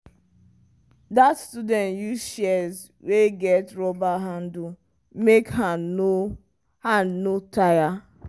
that student use shears wey get rubber handle make hand no hand no tire.